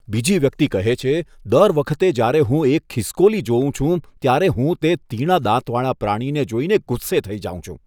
બીજી વ્યક્તિ કહે છે, દર વખતે જ્યારે હું એક ખિસકોલી જોઉં છું, ત્યારે હું તે તીણા દાંતવાળા પ્રાણીને જોઈને ગુસ્સે થઈ જાઉં છું.